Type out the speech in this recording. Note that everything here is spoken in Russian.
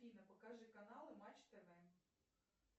афина покажи каналы матч тв